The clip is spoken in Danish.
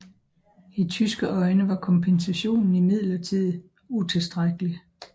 I tyske øjne var kompensationen imidlertid utilstrækkelig